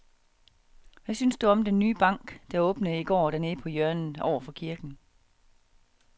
Hvad synes du om den nye bank, der åbnede i går dernede på hjørnet over for kirken?